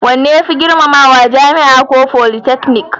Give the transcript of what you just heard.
Wanne ya fi girmamawa, jami'a ko politeknik?